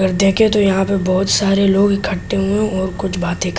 और देखिए तो यहां पे बहुत सारे लोग इकट्ठे हुए है और कुछ बातें--